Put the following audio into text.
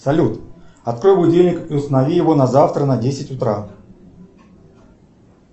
салют открой будильник и установи его на завтра на десять утра